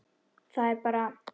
Það er bara.